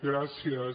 gràcies